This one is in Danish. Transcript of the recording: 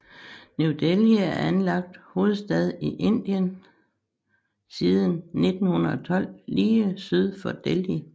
New Delhi er anlagt hovedstad i Indien siden 1912 lige syd for Delhi